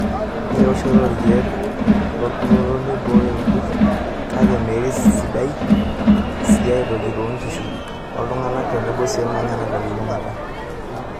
Ore eoshoto oo irkiek lorkurto neiboyo irkurt kake mee sidai sii aitoki toonkishu, oltung'ank tenebo sii ormanyara telulungata.